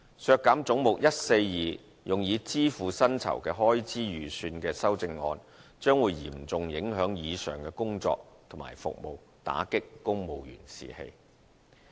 削減總目142用以支付薪酬開支預算的修正案，將會嚴重影響以上的工作和服務，打擊公務員士氣。